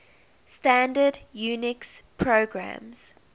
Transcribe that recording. standard unix programs